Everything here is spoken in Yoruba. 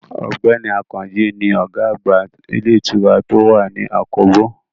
Ọ̀gbẹ́ni Àkànjí ni ọ̀gá àgbà ilé ìtura tó wà ní àkóbò